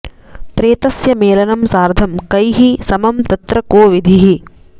प्रेतस्य मेलनं सार्धं कैः समं तत्र को विधिः